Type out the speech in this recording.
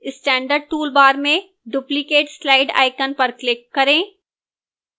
standard toolbar में duplicate slide icon पर click करें